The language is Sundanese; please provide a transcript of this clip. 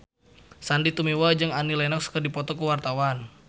Sandy Tumiwa jeung Annie Lenox keur dipoto ku wartawan